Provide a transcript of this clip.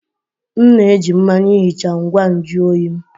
M na-eji mmanya ihicha ngwa nju oyi m